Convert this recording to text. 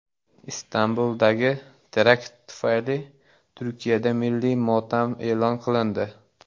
Istanbuldagi terakt tufayli Turkiyada milliy motam e’lon qilindi.